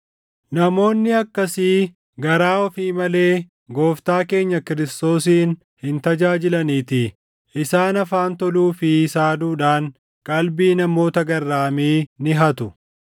Namoonni akkasii garaa ofii malee Gooftaa keenya Kiristoosin hin tajaajilaniitii. Isaan afaan toluu fi saaduudhaan qalbii namoota garraamii ni hatu.